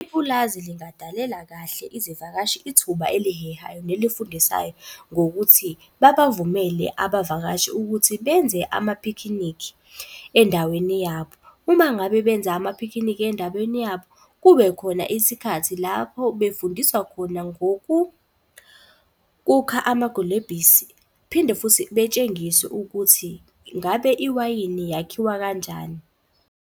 Ipulazi lingadalela kahle izivakashi ithuba elihehayo nelifundisayo ngokuthi, babavumele abavakashi ukuthi benze amaphikhinikhi endaweni yabo. Uma ngabe benze amaphikhinikhi endaweni yabo kube khona isikhathi lapho befundiswa khona amagulebhisi. Phinde futhi betshengiswe ukuthi ngabe iwayini yakhiwa kanjani.